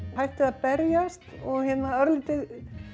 hættið að berjast og örlítið